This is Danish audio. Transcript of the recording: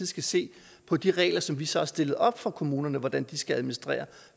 skal se på de regler som vi så har stillet op for kommunerne for hvordan de skal administrere og